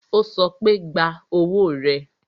Ó sọ pé, gba owó rẹ